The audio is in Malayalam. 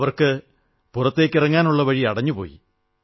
അവർക്ക് പുറത്തിറങ്ങാനുള്ള വഴി അടഞ്ഞു പോയി